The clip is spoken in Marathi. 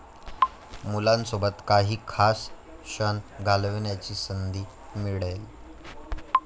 मुलांसोबत काही खास क्षण घालवण्याची संधी मिळेल.